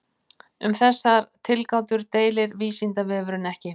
Um þessar tilgátur deilir Vísindavefurinn ekki.